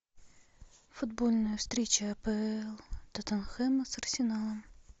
футбольная встреча апл тоттенхэма с арсеналом